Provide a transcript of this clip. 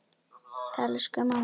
Elsku mamma mín!